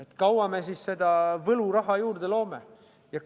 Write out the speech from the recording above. Kui kaua me seda võluraha juurde loome?